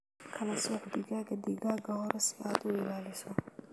Kala sooc digaagga digaagga hore si aad u ilaaliso.